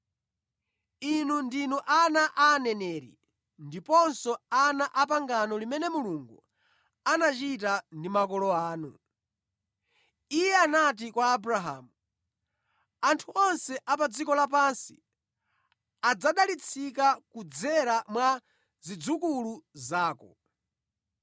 Inu ndinu ana a aneneri ndiponso ana apangano limene Mulungu anachita ndi makolo anu. Iye anati kwa Abrahamu, ‘Anthu onse a pa dziko lapansi adzadalitsika kudzera mwa zidzukulu zako.’